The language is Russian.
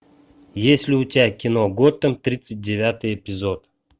есть ли у тебя кино готэм тридцать девятый эпизод